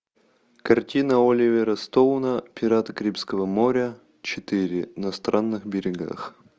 картина оливера стоуна пираты карибского моря четыре на странных берегах